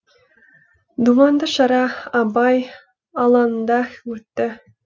думанды шара абай алаңында өтті